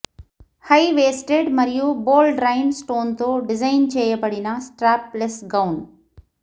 high waisted మరియు bold rhinestone తో design చేయబడిన స్ట్రాప్ లేస్ గౌన్